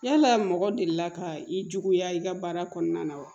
Yala mɔgɔ delila ka i juguya i ka baara kɔnɔna na wa